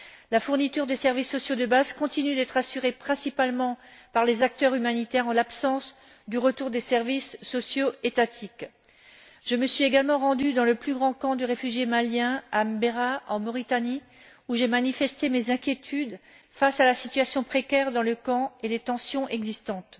La fourniture des services sociaux de base continue d'être assurée principalement par les acteurs humanitaires, en l'absence du retour des services sociaux étatiques. Je me suis également rendue dans le plus grand camp de réfugiés maliens, à Mbera, en Mauritanie, où j'ai manifesté mes inquiétudes face à la situation précaire dans le camp et les tensions existantes.